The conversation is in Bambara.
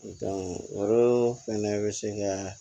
fɛnɛ bɛ se kɛ